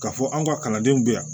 K'a fɔ an ka kalandenw bɛ yan